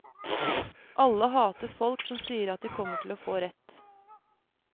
Alle hater folk som sier at de kommer til å få rett.